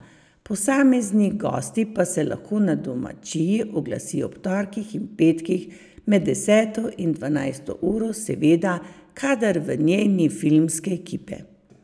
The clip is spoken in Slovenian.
Posamezni gosti pa se lahko na domačiji oglasijo ob torkih in petkih med deseto in dvanajsto uro, seveda kadar v njej ni filmske ekipe.